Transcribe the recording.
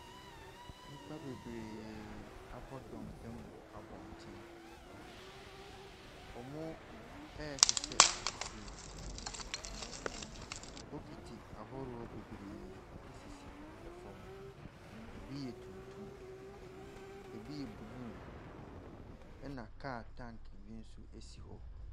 Nnipa bebree abɔ dɔmpem wɔ abɔnten. Wɔresesa nsuo. Bokiti ahodoɔ bebree sisi fam. Ɛbi yɛ tuntum, ɛbi yɛ blue, ɛnna kaa tanke bi nso si hɔ.